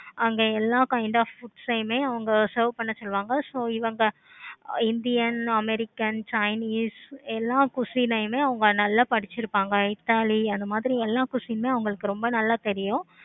அங்க எல்லா kind of books வுமே serve பண்ண சொல்லுவாங்க. so இவங்க indian, american, chinese எல்லா question உமே நல்ல படிச்சிருப்பாங்க. italian அந்த மாதிரி question உமே அவுங்களுக்கு ரொம்ப நல்ல தெரியும்.